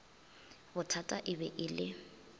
bothata e be e le